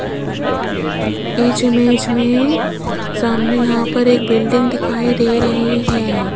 इस इमेज में सामने यहां पर एक बिल्डिंग दिखाई दे रही है।